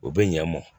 U bɛ ɲan mɔn